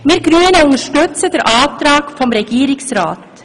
Wir Grünen unterstützen den Antrag des Regierungsrats.